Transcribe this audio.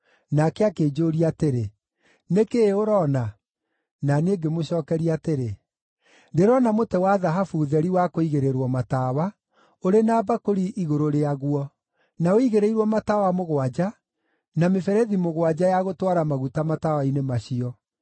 Nake akĩnjũũria atĩrĩ, “Nĩ kĩĩ ũroona?” Na niĩ ngĩmũcookeria atĩrĩ, “Ndĩrona mũtĩ wa thahabu theri wa kũigĩrĩrwo tawa, ũrĩ na mbakũri igũrũ rĩaguo, na ũigĩrĩirwo matawa mũgwanja na mĩberethi mũgwanja ya gũtwara maguta matawa-inĩ macio.